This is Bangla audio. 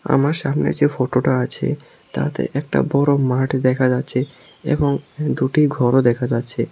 আমার সামনে যে ফটোটা আছে তাতে একটা বড় মাঠ দেখা যাচ্ছে এবং দুটি ঘরও দেখা যাচ্ছে।